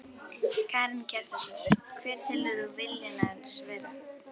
Karen Kjartansdóttir: Hver telur þú vilja hans vera?